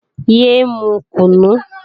Yé é mu kùnú!